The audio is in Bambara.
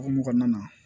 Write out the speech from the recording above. O hokumu kɔnɔna na